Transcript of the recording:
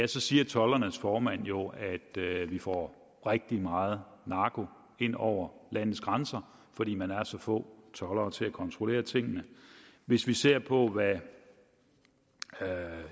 så siger toldernes formand jo at vi får rigtig meget narko ind over landets grænser fordi man er så få toldere til at kontrollere tingene hvis vi ser på hvad